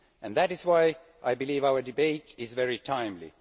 That is why I believe our debate is very timely.